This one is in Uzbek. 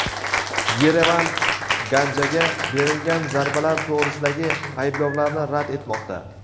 Yerevan Ganjaga berilgan zarbalar to‘g‘risidagi ayblovlarni rad etmoqda.